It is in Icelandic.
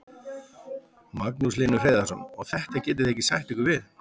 Magnús Hlynur Hreiðarsson: Og þetta getið þið ekki sætt ykkur við?